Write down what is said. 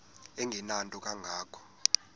engenanto kanga ko